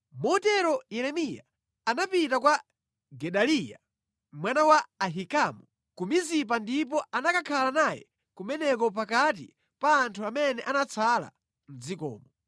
Motero Yeremiya anapita kwa Gedaliya mwana wa Ahikamu ku Mizipa ndipo anakakhala naye kumeneko pakati pa anthu amene anatsala mʼdzikomo.